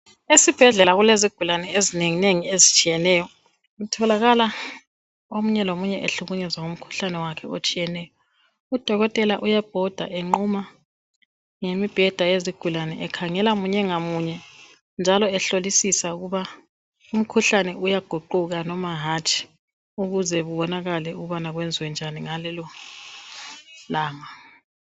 Esibhedlela kulezigulani ezinenginengi ezitshiyeneyo .Kutholakala omunye lomunye ehlukunyezwa ngumkhuhlane wakhe otshiyeneyo. Udokotela uyabhoda enquma ngemibheda yezigulane ekhangela munye ngamunye. Njalo ehlolisisa ukuba umkhuhlane uyaguquka noma hatshi . Ukuze kubonakale ukubana kwenziwe njani ngalelo langa.